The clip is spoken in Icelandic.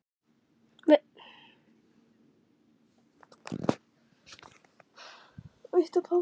Vilt þú vinna eintak?